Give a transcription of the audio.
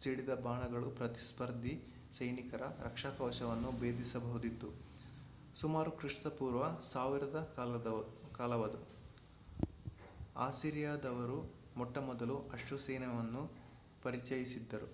ಸಿಡಿದ ಬಾಣಗಳು ಪ್ರತಿಸ್ಪರ್ಧಿ ಸೈನಿಕರ ರಕ್ಷಾಕವಚವನ್ನು ಭೇದಿಸಬಹುದಿತ್ತು ಸುಮಾರು ಕ್ರಿಪೂ 1000 ಕಾಲವದು ಅಸಿರಿಯಾದವರು ಮೊಟ್ಟಮೊದಲ ಅಶ್ವಸೈನ್ಯವನ್ನು ಪರಿಚಯಿಸಿದ್ದರು